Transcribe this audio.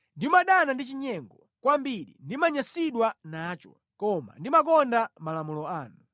Ndimadana ndi chinyengo, kwambiri ndimanyansidwa nacho, koma ndimakonda malamulo anu.